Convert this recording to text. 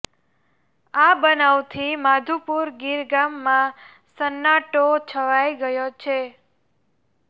આ બનાવથી માધુપુર ગીર ગામમાં સન્નાટો છવાઈ ગયો છે